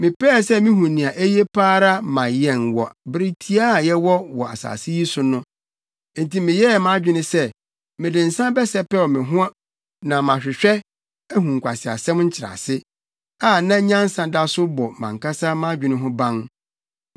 Mepɛɛ sɛ mihu nea eye pa ara ma yɛn wɔ bere tiaa a yɛwɔ wɔ asase yi so no. Enti meyɛɛ mʼadwene sɛ mede nsa bɛsɛpɛw me ho na mahwehwɛ, ahu nkwaseasɛm nkyerɛase, a na nyansa da so bɔ mʼankasa mʼadwene ho ban.